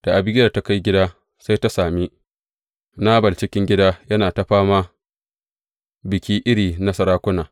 Da Abigiyel ta kai gida sai ta sami Nabal cikin gida yana ta fama biki iri na sarakuna.